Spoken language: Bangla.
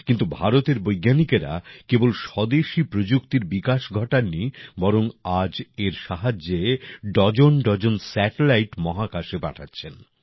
কিন্তু ভারতের বৈজ্ঞানিকরা কেবল স্বদেশী প্রযুক্তিরই বিকাশ ঘটান নি বরং আজ এর সাহায্যে ডজনডজন স্যাটেলাইট মহাকাশে পাঠাচ্ছেন